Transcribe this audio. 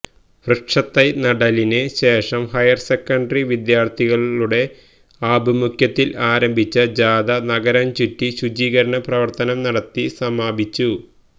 വൃക്ഷതൈ നടീലിന് ശേഷം higher secondary വിദ്യാര്ത്ഥികളുടെ ആഭിമുഖ്യത്തില് ആരംഭിച്ച ജാഥ നഗരംചുറ്റി ശുചീകരണ പ്രവര്ത്തനം നടത്തി സമാപിച്ചു